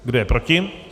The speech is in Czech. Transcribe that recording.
Kdo je proti?